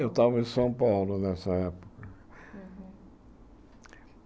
Eu estava em São Paulo nessa época.